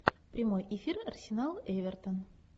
прямой эфир арсенал эвертон